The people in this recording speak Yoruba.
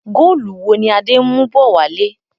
Góólù wo ni Adé ń mú bọ̀ wálé?